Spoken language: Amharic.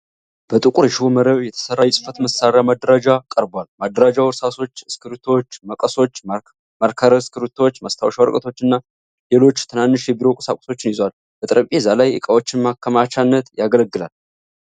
በጥቁር የሽቦ መረብ የተሠራ የጽሕፈት መሳሪያ ማደራጃ ቀርቧል። ማደራጃው እርሳሶች፣ እስክሪብቶዎች፣ መቀሶች፣ ማርከር እስክሪብቶዎች፣ ማስታወሻ ወረቀቶችና ሌሎች ትናንሽ የቢሮ ቁሳቁሶችን ይዟል። ለጠረጴዛ ላይ ዕቃዎች ማከማቻነት ያገለግላል።